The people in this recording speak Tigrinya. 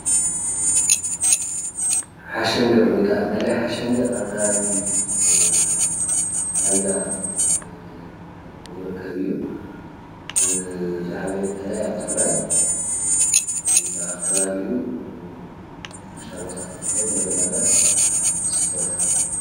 ሓሸንገ ወይ ከዓ ቃላይ ሓሸንገ ኣብ ትግራይ ፍሉይ ቦታ ኣብ ከባቢ ራያኮረም ዝርከብ ኾይኑ ፦ እቲ ካብ ትግራይ ዝዓበየ ቃላይ እዩ።